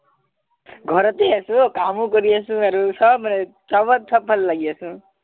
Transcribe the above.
ঘৰতে আছো কামো কৰি আছো আৰু